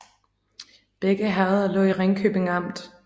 Begge herreder lå i Ringkøbing Amt